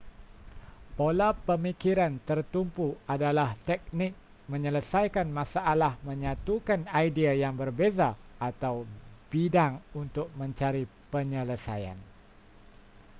pola pemikiran tertumpu adalah teknik menyelesaikan masalah menyatukan idea yang berbeza atau bidang untuk mencari penyelesaian